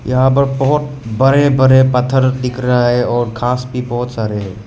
यहां पर बहोत बड़े बड़े पत्थर दिख रहा है और घास भी बहोत सारे है।